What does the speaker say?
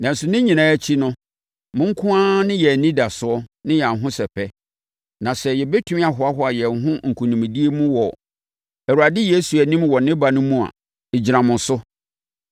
Nanso, ne nyinaa akyi no, mo nko ara ne yɛn anidasoɔ ne yɛn ahosɛpɛ. Na sɛ yɛbɛtumi ahoahoa yɛn ho nkonimdie mu wɔ Awurade Yesu anim wɔ ne ba no mu a, ɛgyina mo so.